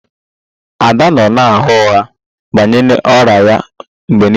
Ada nọ na-agha ụgha banyere ọrịa ya mgbe niile